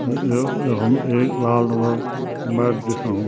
अ यो यखम एक लाल रंगा क मैट दिखेणु।